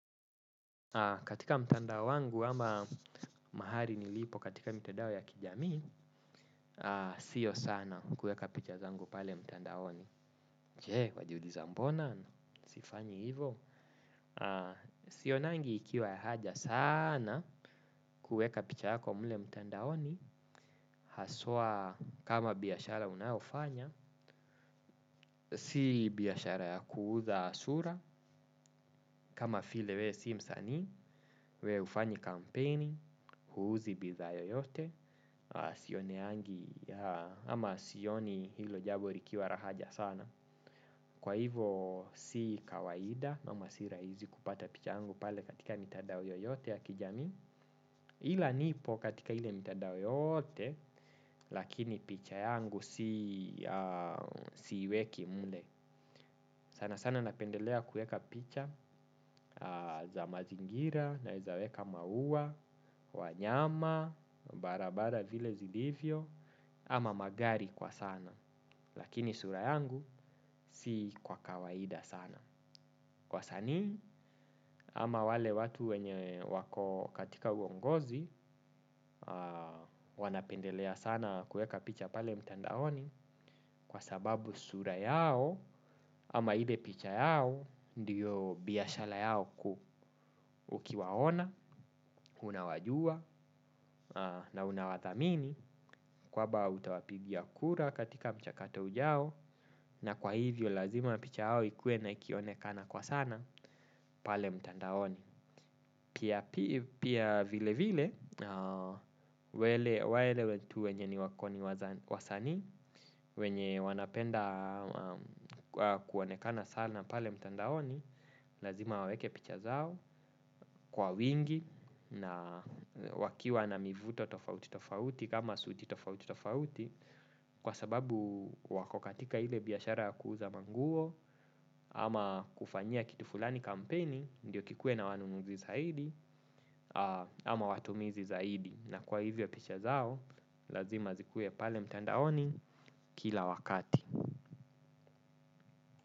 Katika mtandao wangu ama mahali nilipo katika mtandao ya kijami, sio sana kuweka picha zangu pale mtandaoni. Je, wajiuliza mbona, sifanyi hivo. Sionangi ikiwa haja sana kuweka picha yako mle mtandaoni, haswa kama biashara unayofanya. Si biashara ya kuuza sura, kama file we si msani, we ufanyi kampeni, huuzi bidhaa yoyote, sioneangi ama sioni hilo jabo rikiwa ra haja sana. Kwa hivo si kawaida ama si rahizi kupata picha yangu pale katika mitadao yoyote ya kijami. Hila nipo katika hile mitadao yote, lakini picha yangu siweki mle. Sana sana napendelea kueka picha za mazingira naeza weka mauwa, wanyama, barabara vile zilivyo, ama magari kwa sana, lakini sura yangu si kwa kawaida sana. Wasanii ama wale watu wenye wako katika uongozi wanapendelea sana kueka picha pale mtandaoni kwa sababu sura yao ama ile picha yao ndiyo biashala yao kuu ukiwaona, unawajua na unawathamini kwaba utawapigia kura katika mchakato ujao na kwa hivyo lazima picha yao ikue ikionekana kwa sana pale mtandaoni. Pia vile vile wale watu wenye ni wako ni wasani wenye wanapenda kuonekana sana pale mtandaoni lazima waweke picha zao kwa wingi na wakiwa na mivuto tofauti tofauti kama suti tofauti tofauti kwa sababu wako katika ile biashara ya kuuza manguo ama kufanyia kitu fulani kampeni ndiyo kikue na wanunuzi zaidi ama watumizi zaidi. Na kwa hivyo picha zao lazima zikuwe pale mtandaoni kila wakati.